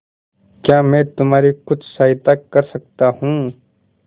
क्या मैं तुम्हारी कुछ सहायता कर सकता हूं